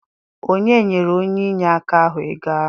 Onye nyere onye inyeaka ahụ ego ahụ?